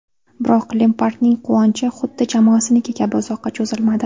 Biroq Lempardning quvonchi xuddi jamoasiniki kabi uzoqqa cho‘zilmadi.